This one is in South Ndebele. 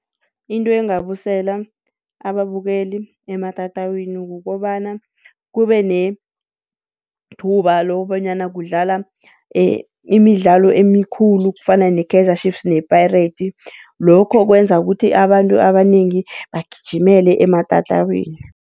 Into engabusela ababukeli ematatawini kukobana kubenethuba lokobonyana kudlala imidlalo emikhulu kufana ne-Kaizer Chiefs ne-Pirates, lokho kwenza ukuthi abantu abanengi bagijimele ematatawini.